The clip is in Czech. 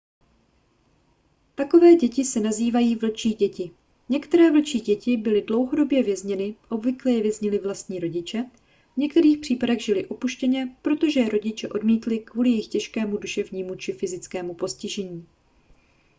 takové děti se nazývají vlčí děti. některé vlčí děti byly dlouhodobě vězněny obvykle je věznili vlastní rodiče v některých případech žily opuštěně protože je rodiče odmítli kvůli jejich těžkému duševnímu či fyzickému postižení